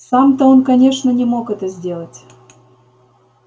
сам-то он конечно не мог это сделать